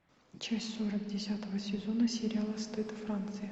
часть сорок десятого сезона сериала стыд франция